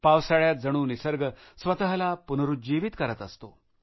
पावसाळ्यात जणू निसर्ग स्वतःला पुनरुज्जीवित करत असतो